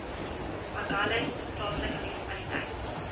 agulhas plaaslike munisipaliteit